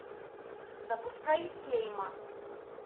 запускай хейма